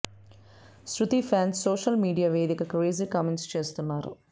శృతి fans social media వేదికగా crazy comments చేస్తున్నారు